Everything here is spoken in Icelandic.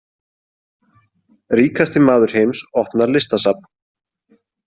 Ríkasti maður heims opnar listasafn